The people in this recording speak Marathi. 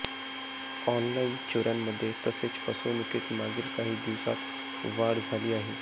ऑनलाईन चोऱ्यांमध्ये तसेच फसवणुकीत मागील काही दिवसात वाढ झाली आहे